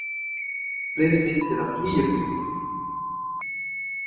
Fleiri myndir af Gígjökli